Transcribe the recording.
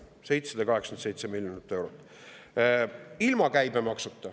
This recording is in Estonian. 787 miljonit eurot!